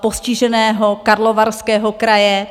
postiženého Karlovarského kraje.